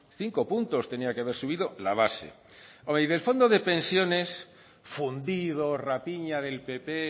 cinco puntos tendría que haber subido la base hombre y del fondo de pensiones fundido rapiña del pp